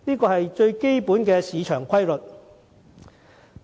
這是最基本的市場定律。